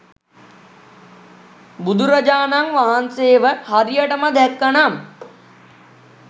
බුදුරජාණන් වහන්සේව හරියටම දැක්ක නම්